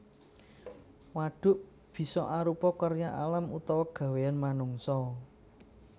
Wadhuk bisa arupa karya alam utawa gawéyan manungsa